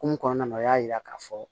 Kun mun kɔnɔna na o y'a yira k'a fɔ